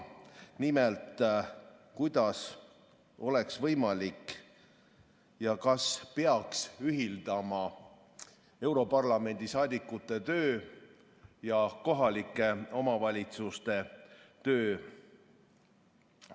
Nimelt, kuidas oleks võimalik ühitada ja kas peaks ühitama europarlamendi saadikute ja kohalike omavalitsuste tööd.